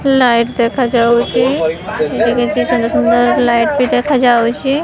Light ଦେଖାଯାଉଛି ଏଠି କିଛି ସୁନ୍ଦର ସୁନ୍ଦର ଲାଇଟ୍ ଭି ଦେଖାଯାଉଛି।